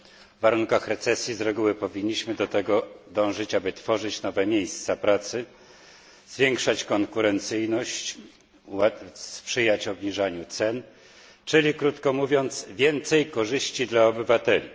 W warunkach recesji z reguły powinniśmy dążyć do tego, aby tworzyć nowe miejsca pracy, zwiększać konkurencyjność, sprzyjać obniżaniu cen, czyli krótko mówiąc, więcej korzyści dla obywateli.